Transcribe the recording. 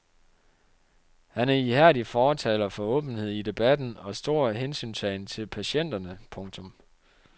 Han er ihærdig fortaler for åbenhed i debatten og stor hensyntagen til patienterne. punktum